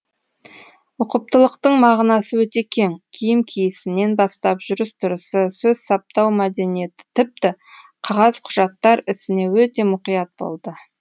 ұқыптылықтың мағынасы өте кең киім киісінен бастап жүріс тұрысы сөз саптау мәдениеті тіпті қағаз құжаттар ісіне өте мұқият болды